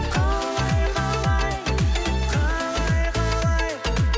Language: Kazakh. қалай қалай қалай қалай